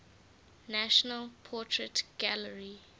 national portrait gallery